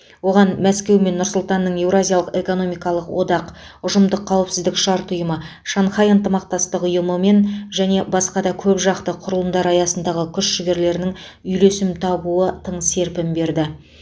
оған мәскеу мен нұр сұлтанның еуразиялық экономикалық одақ ұжымдық қауіпсіздік шарт ұйымы шанхай ынтымақтастық ұйымы мен және басқа да көпжақты құрылымдар аясындағы күш жігерінің үйлесім табуы тың серпін берді